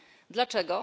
Dlaczego?